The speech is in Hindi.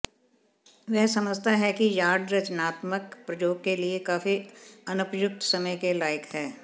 वह समझता है कि यार्ड रचनात्मक प्रयोग के लिए काफी अनुपयुक्त समय के लायक है